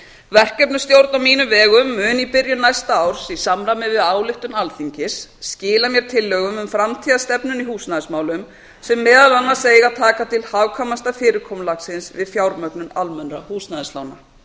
verkefnastjórn á mínum vegum mun í byrjun næsta árs í samræmi við ályktun alþingis skila mér tillögum um framtíðarstefnuna í húsnæðismálum sem meðal annars eiga að taka til hagkvæmasta fyrirkomulagsins við fjármögnun almennra húsnæðislána